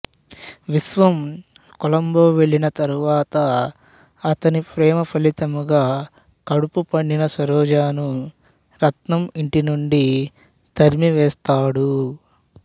విశ్వం కొలంబో వెళ్ళిన తర్వాత అతని ప్రేమఫలితంగా కడుపు పండిన సరోజను రత్నం ఇంటినుండి తరిమివేస్తాడు